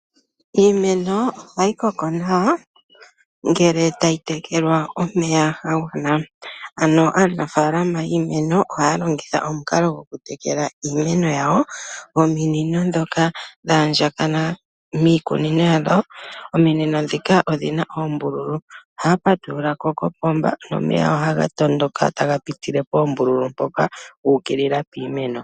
Iimeno ohayi koko nawa ngele tayi tekelwa omeya ga gwana. Ano aanafaalama yiimeno ohaya longitha omukalo gokutekela iimeno yawo nominino dhoka shaandjakana miikunino yadho. Ominino dhoka odhina oombululu, ohaya patululako koopomba nomeya ohaya tondoka taga pitike poombululu mpoka guukilila piimeno.